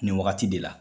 Nin wagati de la